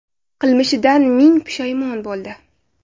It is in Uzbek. Qilmishidan ming pushaymon bo‘ldi.